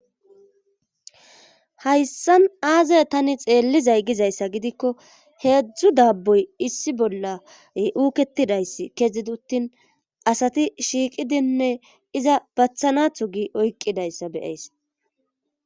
hayssan aazay tani xeellizay gizayssa gidikko heedzdzu daabboy issi bolla uuketidayss kezidi uttin asati shiiqidinne iza bathanatho gi oyqqidayssa be7ays.